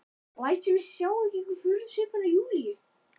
Læt sem ég sjái ekki furðusvipinn á Júlíu.